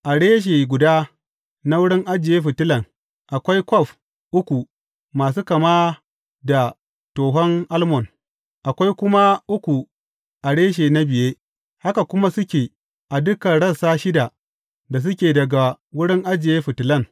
A reshe guda na wurin ajiye fitilan, akwai kwaf uku masu kama da tohon almon, akwai kuma uku a reshe na biye, haka kuma suke a dukan rassa shida da suke daga wurin ajiye fitilan.